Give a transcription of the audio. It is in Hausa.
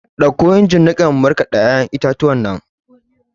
Ɗauko injin niƙan in markada ya'yan itatuwan!